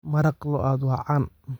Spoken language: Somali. Maraq lo'aad waa caan.